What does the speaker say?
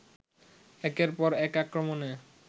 একের পর এক আক্রমণে